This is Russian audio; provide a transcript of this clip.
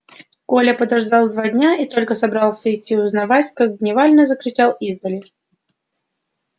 коля подождал два дня и только собрался идти узнавать как дневальный закричал издали